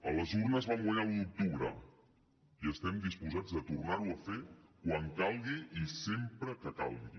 a les urnes vam guanyar l’un d’octubre i estem disposats a tornar ho a fer quan calgui i sempre que calgui